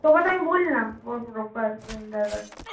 তোকে তো আমি বললাম ও broker vendor বা কিছু